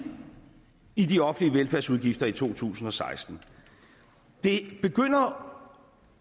i de offentlige velfærdsudgifter i to tusind og seksten det begynder